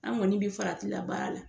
An kɔni bi farati la baara la.